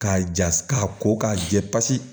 K'a ja k'a ko k'a jɛ pasi